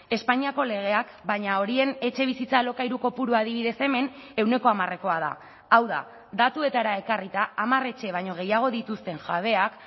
espainiako legeak baina horien etxebizitza alokairu kopurua adibidez hemen ehuneko hamarekoa da hau da datuetara ekarrita hamar etxe baino gehiago dituzten jabeak